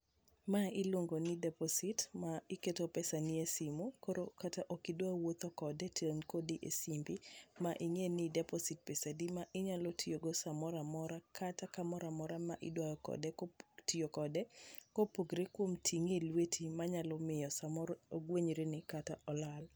Ma iluongo ni deposit ma iketo pesa ni e simu kata koro ok idwa wuotho kode to in kode e simbi. ma ing'e ni deposit pesa di ma inyalo tiyo go samoramora kata kamoramora ma ida tiyo kode kopogore kod ting'e e lweti manyalo miyo samoro ogwenyre ni kata olal.